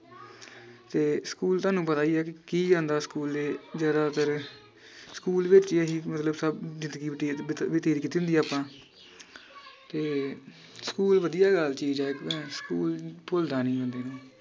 ਤੇ ਸਕੂਲ ਤੁਹਾਨੂੰ ਪਤਾ ਈ ਆ ਕਿ ਕੀ ਜਾਂਦਾ ਸਕੂਲੇ ਜਿਹੜਾ ਤੇਰੇ ਸਕੂਲ ਵਿਚ ਇਹੀ ਮਤਲਬ ਸਬ ਜਿੰਦਗੀ ਬਤੀਤ ਬਤ ਬਤੀਤ ਕੀਤੀ ਹੁੰਦੀ ਆਪਾਂ ਤੇ ਸਕੂਲ ਵਧੀਆ ਚੀਜ ਏ ਸਕੂਲ ਭੁਲਦਾ ਨੀ ਬੰਦੇ ਨੂੰ